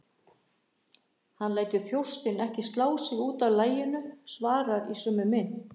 Hann lætur þjóstinn ekki slá sig út af laginu, svarar í sömu mynt.